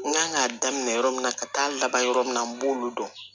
N kan k'a daminɛ yɔrɔ min na ka taa laban yɔrɔ min na n b'olu dɔn